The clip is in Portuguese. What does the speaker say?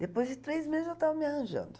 Depois de três meses eu estava me arranjando.